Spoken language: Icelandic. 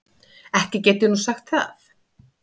Ekki get ég nú sagt það.